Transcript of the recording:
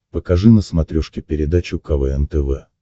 покажи на смотрешке передачу квн тв